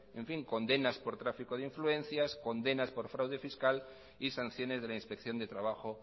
condenas por tráfico de influencias condenas por fraude fiscal y sanciones de la inspección de trabajo